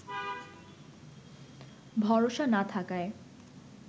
ভরসা না থাকায়